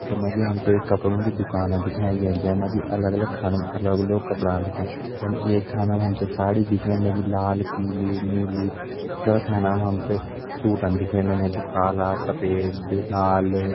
Photo मा जी हम ते एक कपड़ो की दुकान दिखाईं गईं जै मा जी अलग अलग खानों मा अलग आग कपड़ा रख्यां जन एक खाना मा हम ते साड़ी दिखेण लगीं लाल पीली नीली दूसरा खाना मा हम ते सूटन दिखेण लग्यां जु काला सफ़ेद लाल।